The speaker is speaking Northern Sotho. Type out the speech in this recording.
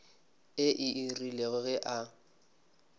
ee e rile ge a